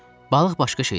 Balıq başqa şeydir.